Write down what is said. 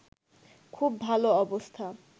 খুব ভালো অবস্থা